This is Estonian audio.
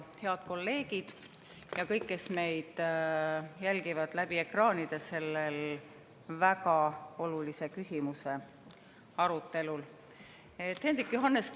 Head kolleegid ja kõik, kes jälgivad selle väga olulise küsimuse arutelu ekraanide taga!